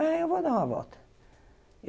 Ah, eu vou dar uma volta.